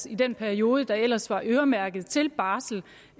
i den periode der ellers var øremærket til barsel